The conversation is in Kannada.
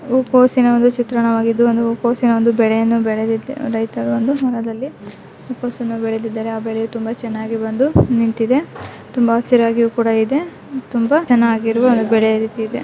ಹೂಕೋಸಿನ ಒಂದು ಚಿತ್ರಣವಾಗಿದ್ದು ಇಲ್ಲಿ ಹೂಕೋಸನ್ನು ಬೆಳೆದಿದ್ದಾರೆ ಹಾಗೆ ತುಂಬಾ ಚೆನ್ನಾಗಿ ಬೆಳೆದು ನಿಂತಿದೆ ಹಾಗೆ ತುಂಬಾ ಹಸಿರಾಗಿಯು ಇದೆ.